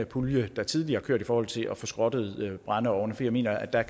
pulje der tidligere har kørt i forhold til at få skrottet brændeovne for jeg mener at der